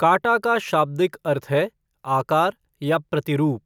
काटा का शाब्दिक अर्थ है 'आकार' या 'प्रतिरूप'।